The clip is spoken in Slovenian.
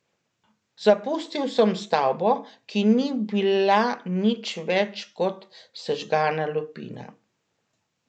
Zapustil sem stavbo, ki ni bila nič več kot sežgana lupina.